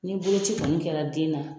Ni boloci kɔni kɛra den na.